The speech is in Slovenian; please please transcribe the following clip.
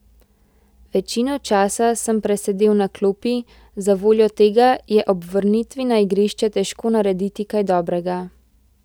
Večino časa sem presedel na klopi, zavoljo tega je ob vrnitvi na igrišče težko narediti kaj dobrega.